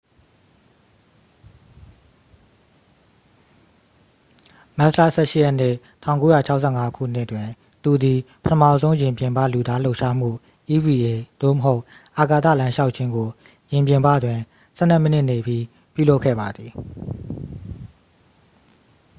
မတ်လ ၁၈ရက်နေ့၊ ၁၉၆၅ခုနှစ်တွင် သူသည် ပထမဆုံး ယာဉ်ပြင်ပ လူသားလှုပ်ရှားမှု eva သို့မဟုတ် အာကာသလမ်းလျှောက်ခြင်းကို ယာဉ်ပြင်ပတွင် ဆယ်နှစ်မိနစ်နေပြီး ပြုလုပ်ခဲ့ပါသည်။